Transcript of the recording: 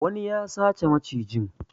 Wani ya sace macijin.